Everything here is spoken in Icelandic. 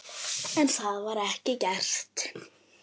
En það var ekki gert.